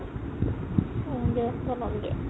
অ দিয়া বনাম দিয়া